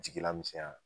Jigila misɛnya